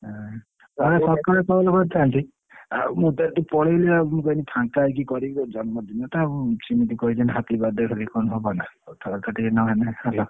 ହୁଁ ତତେ ସକାଳୁ phone କରିଥାନ୍ତି ମୁଁ ତ ଏଠି ପଳେଇଲି ଆଉ ମୁଁ ଫାଙ୍କ ହେଇକି କରିବି ଆଉ ଜନ୍ମ ଦିନଟା ଆଉ ସେମିତି କହିଦେବି happy birthday ସେମିତିକନ ହବନା କଥା ବାରତାଟିକେ ନହେଲେ।